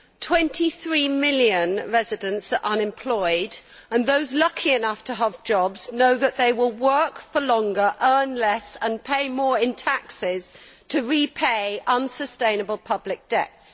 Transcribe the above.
Twenty three million residents are unemployed, and those lucky enough to have jobs know that they will work for longer, earn less and pay more in taxes to repay unsustainable public debts.